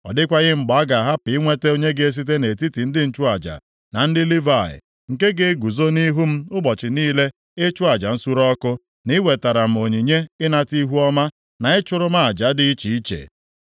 Ọ dịkwaghị mgbe a ga-ahapụ inweta onye ga-esite nʼetiti ndị nchụaja na ndị Livayị, nke ga-eguzo nʼihu m ụbọchị niile ịchụ aja nsure ọkụ, na i wetara m onyinye ịnata ihuọma, na ịchụrụ m aja dị iche iche.’ ”